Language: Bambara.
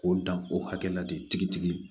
K'o dan o hakɛ la de tigitigi